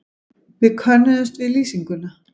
Við könnuðumst við lýsinguna.